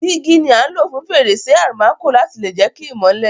Dígí ni a n lo fún fèrèsé almanco láti lè jẹ ki ìmọ́lẹ̀